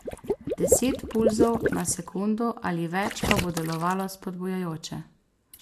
Deset pulzov na sekundo ali več pa bo delovalo spodbujajoče.